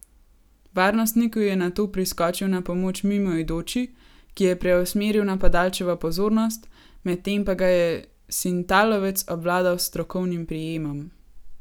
Varnostniku je nato priskočil na pomoč mimoidoči, ki je preusmeril napadalčevo pozornost, medtem pa ga je sintalovec obvladal s strokovnim prijemom.